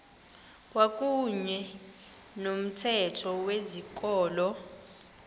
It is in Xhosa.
kwakuyne nomthetho wezikolo